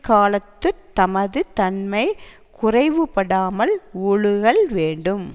காலத்து தமது தன்மை குறைவு படாமல் ஒழுகல் வேண்டும்